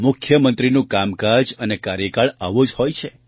મુખ્યમંત્રીનું કામકાજ અને કાર્યકાળ આવો જ હોય છે